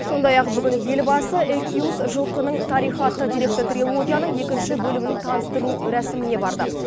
сондай ақ бүгін елбасы экюс жылқының тарихы атты деректі трилогияның екінші бөлімінің таныстырылу рәсіміне барды